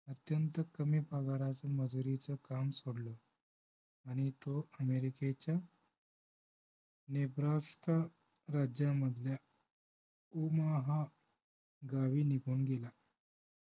अत्यंत कमी पगाराचे मजूरीचं काम सोडलं आणि तो अमेरिकेच्या नेब्रास्का राज्यामधल्या ओमाहा गावी निघून गेला